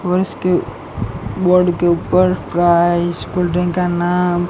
और इसके बोर्ड के ऊपर प्राइस कोल्ड ड्रिंक का नाम--